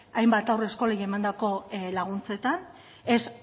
hainbat haurreskolei emandako laguntzetan ez